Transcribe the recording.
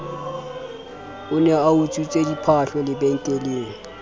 ne a utswitse diphahlo lebenkeleng